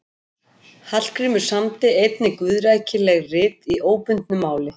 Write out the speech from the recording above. Hallgrímur samdi einnig guðrækileg rit í óbundnu máli.